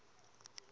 wadayila